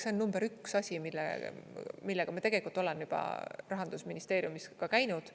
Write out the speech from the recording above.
See on number üks asi, millega me tegelikult oleme juba Rahandusministeeriumis käinud.